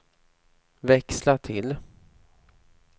växla till